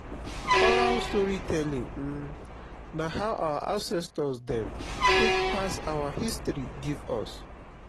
oral storytelling um na how our ancestor dem take pass our history give us.